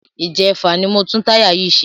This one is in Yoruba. Ìjẹfà ni mo tún táyà yìí ṣe.